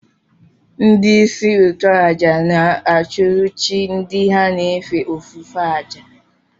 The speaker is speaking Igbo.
Ndị isi nchụàjà na-achụrụ chi ndị ha na-efe ofufe àjà